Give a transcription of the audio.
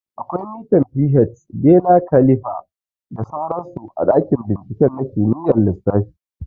Akwai mitan pH, bener kalifa da sauran su a ɗakin bincike na kimiyyar lissafi